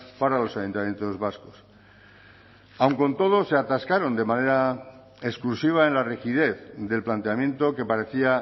para los ayuntamientos vascos aun con todo se atascaron de manera exclusiva en la rigidez del planteamiento que parecía